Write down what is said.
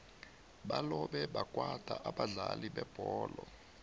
balobe bakwata abadlali bebholo